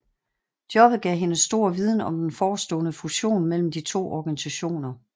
Jobbet gav hende stor viden om den forestående fusion mellem de to organisationer